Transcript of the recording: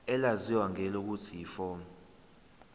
elaziwa ngelokuthi yiform